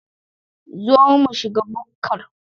Zo mu shiga bukkar